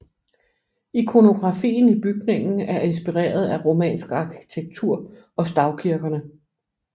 Ikonografien i bygningen er inspireret af romansk arkitektur og stavkirkene